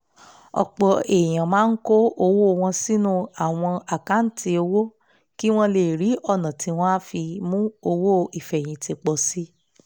ọ̀pọ̀ èèyàn máa kó owó wọn sínú àwọn àkáǹtì owó kí wọ́n lè rí ọ̀nà tí wọ́n á fi mú owó ìfẹ̀yìntì pọ̀ sí